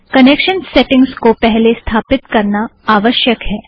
connection settings को पहले स्थापित करना आवश्यक है